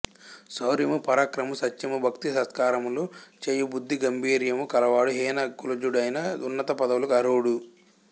శౌర్యమూ పరాక్రమమూ సత్యమూ భక్తి సత్కార్యములు చేయు బుద్ధి గంభీర్యము కల వాడు హీన కులజుడైనా ఉన్నత పదవులకు అర్హుడు